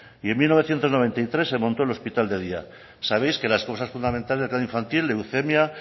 y en mil novecientos noventa y tres se montó el hospital de día sabéis que las cosas fundamentales de la infantil leucemia